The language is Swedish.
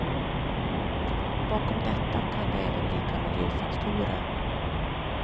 Bakom detta kan det även ligga miljöfaktorer.